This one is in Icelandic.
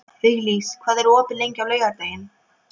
Viglís, hvað er opið lengi á laugardaginn?